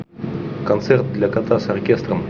концерт для кота с оркестром